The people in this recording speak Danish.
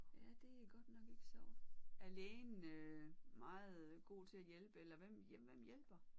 Ja det er godt nok ikke sjovt. Er lægen øh meget god til at hjælpe eller hvem hjælper?